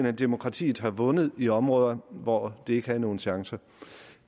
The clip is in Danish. at demokratiet har vundet i områder hvor det ikke havde nogen chancer